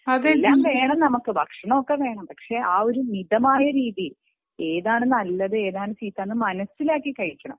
എല്ലാം വേണം നമുക്ക് ഭക്ഷണമൊക്കെ വേണം പക്ഷെ ആ ഒരു മിതമായ രീതി ഏതാണ് നല്ലത് ഏതാണ് ചീത്ത എന്ന് മനസിലാക്കി കഴിക്കണം